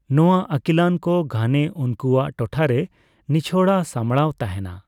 ᱱᱚᱣᱟ ᱟᱹᱠᱤᱞᱟᱱ ᱠᱚ ᱜᱷᱟᱱᱮ ᱩᱱᱠᱩᱭᱟᱜ ᱴᱚᱴᱷᱟᱨᱮ ᱱᱤᱪᱷᱚᱲᱟ ᱥᱟᱢᱲᱟᱣ ᱛᱟᱦᱮᱱᱟ ᱾